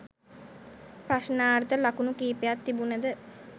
ප්‍රශ්නාර්ථ ලකුණු කිපයක් තිබුණද